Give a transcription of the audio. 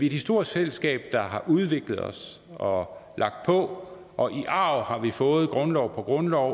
et historisk fællesskab der har udviklet os og lagt på og i arv har vi fået grundlov på grundlov og